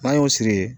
N'an y'o siri